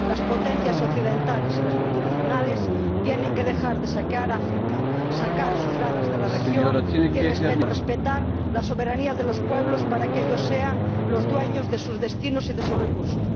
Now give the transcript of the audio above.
Las potencias occidentales y las multinacionales tienen que dejar de saquear África, sacar sus garras de la región y respetar la soberanía de los pueblos para que ellos sean los dueños de sus destinos y de sus recursos.